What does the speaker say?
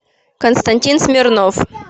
константин смирнов